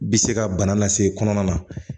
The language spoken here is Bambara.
Bi se ka bana lase kɔnɔna na